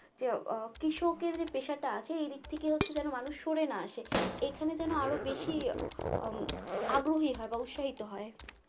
যে আহ কৃষকের যে পেশাটা আছে এইদিক থেকে হচ্ছে যেন মানুষ সরে না আসে এখানে যেন আরো বেশি হম আগ্রহী হয় এখানে যেন আরো বেশি আগ্রহী হয় বা উৎসাহিত হয়